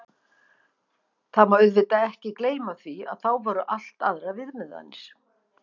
Það má auðvitað ekki gleyma því, að þá voru allt aðrar viðmiðanir.